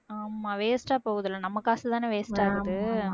ஆமா waste ஆ போகுதுல்ல நம்ம காசுதானே waste ஆகுது